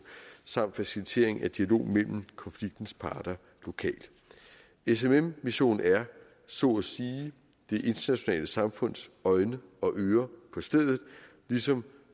samt facilitering af dialog mellem konfliktens parter lokalt smm missionen er så at sige det internationale samfunds øjne og ører på stedet ligesom